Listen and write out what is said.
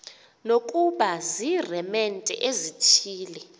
nokuba ziiremente ezithile